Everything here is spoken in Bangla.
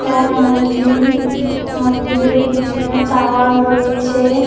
এটা মন্দির মন্দিরের পিছনে টাওয়ার রয়েছে।